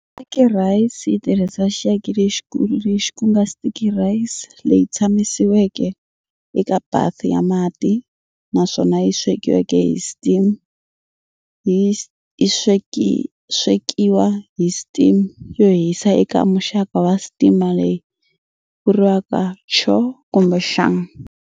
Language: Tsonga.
Sticky rice yitirhisa xiaki lexikulu lexi kunga sticky rice, leyi tsakamisiweke eka bath ya mati, naswona yi swekiwa hi steam yo hisa eka muxaka wa steamer, leyi vuriwaka"cho" kumbe"xung".